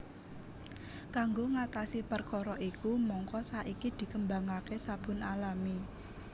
Kanggo ngatasi perkara iku mangka saiki dikembangaké sabun alami